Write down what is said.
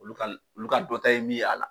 Olu olu ka dɔn ta ye min y'a la.